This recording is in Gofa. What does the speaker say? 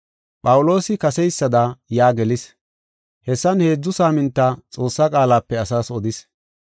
Phawuloosi kaseysada yaa gelis. Hessan heedzu saaminta Xoossaa qaalape asaas odis.